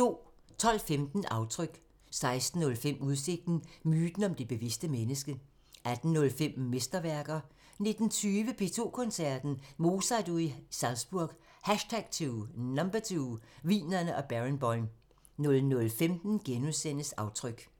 12:15: Aftryk 16:05: Udsigten – Myten om det bevidste menneske 18:05: Mesterværker 19:20: P2 Koncerten – Mozart-uge i Salzburg #2 – Wienerne og Barenboim 00:15: Aftryk *